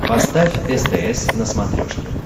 поставь стс на смотрешке